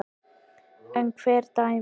En hver dæmir?